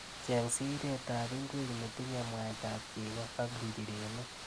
Cheng' siretap ing'wek netinye mwaitap cheko ak njireniik.